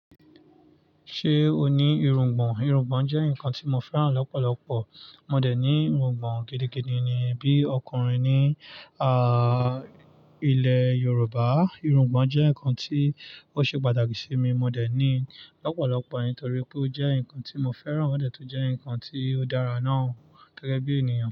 Ṣé o ní irungbọ̀n? Irungbọ̀n jẹ́ ǹkan tí mo fẹ́ràn lọ́pọ̀lọpọ̀. Mò dẹ̀ ní irungbọ̀n gidigidi ni. Bí ọkùnrin ní ilẹ́ Yorùbá, irungbọ̀n jẹ́ ǹkan tí ó ṣe pàtàkì sí mi. Mò dẹ̀ ní lọ́pọ̀lọpọ̀ nítorí pé ó jẹ́ ǹkan tí mo fẹ́ràn, ó dẹ̀ tó jẹ́ ǹkan tí ó dára náà gẹ́gẹ́ bí ènìyàn.